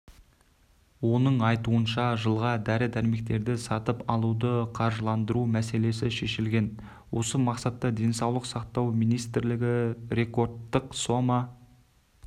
оның айтуынша жылға дәрі-дәрмектерді сатып алуды қаржыландыру мәселесі шешілген осы мақсатта денсаулық сақтау министрлігі рекордтық сома